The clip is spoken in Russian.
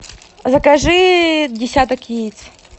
закажи десяток яиц